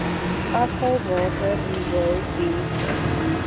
afvalwater riool dienste